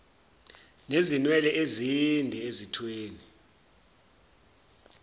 nezinwele ezinde ezithweni